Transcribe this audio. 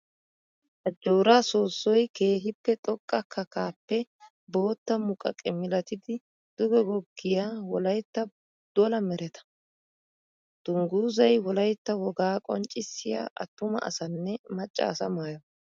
Ajjora soosoy keehippe xoqqa kakkappe bootta muqaqe milatiddi duge goggiya wolaytta dolla meretta. Dungguzay wolaytta wogaa qonccissiya atuma asanne maca asa maayo.